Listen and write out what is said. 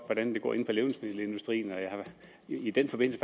hvordan det går inden for levnedsmiddelindustrien og jeg har i den forbindelse